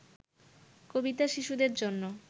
কবিতা শিশুদের জন্য